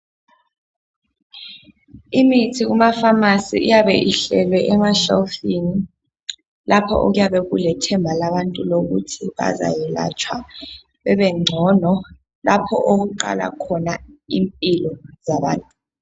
Imithi kuma phamarcy iyabe ihlelwe emashelufini lapha okuyabe kulethemba labantu ukuthi bazayelatshwa babengcono lapha okuqala khona impilo yabantu.